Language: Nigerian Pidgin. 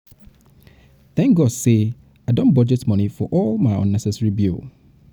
thank god say i don budget money for all my unnecessary bill